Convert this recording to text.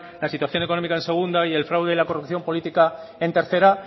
la situación económica la segunda y el fraude y la corrupción política en tercera